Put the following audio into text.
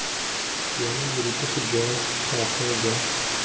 bone borutegi jwa gagwe jwa